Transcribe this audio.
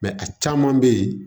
a caman bɛ yen